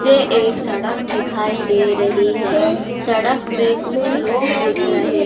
ये एक सड़क दिखाई दे रही है सड़क पे कुछ लोग दिख रहे।